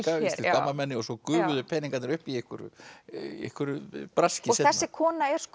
gamalmenni og svo gufuðu peningarnir upp í einhverju einhverju braski seinna þessi kona er